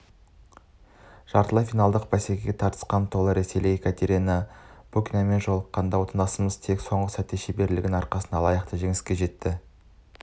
жартылай финалдық бәсеке де тартысқа толы болды ресейлік екатерина букинамен жолыққан да отандасымыз тек соңғы сәтте шеберлігінің арқасында лайықты жеңіске жетті